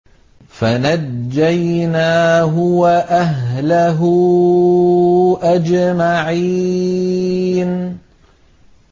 فَنَجَّيْنَاهُ وَأَهْلَهُ أَجْمَعِينَ